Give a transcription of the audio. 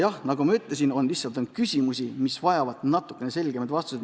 Ent nagu ma ütlesin, on lihtsalt küsimusi, mis vajavad natukene selgemaid vastuseid.